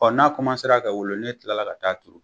n'a ka wolo ne kilala ka taa turu